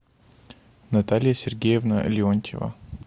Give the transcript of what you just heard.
наталья сергеевна леонтьева